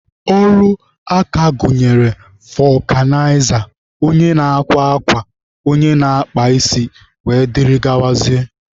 Ọrụ aka gụnyere fọkụnaiza, onye na-akwa akwa, onye na-akpa isi wdg.